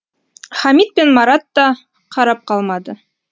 хамит пен марат та қарап қалмады